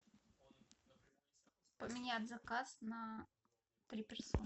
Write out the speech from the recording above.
поменять заказ на три персоны